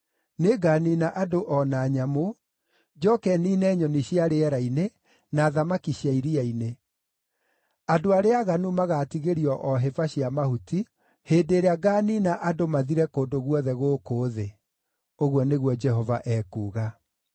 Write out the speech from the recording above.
Nĩnganiina andũ o na nyamũ; njooke niine nyoni cia rĩera-inĩ, na thamaki cia iria-inĩ. Andũ arĩa aaganu magaatigĩrio o hĩba cia mahuti, hĩndĩ ĩrĩa ngaaniina andũ mathire kũndũ guothe gũkũ thĩ,” ũguo nĩguo Jehova ekuuga.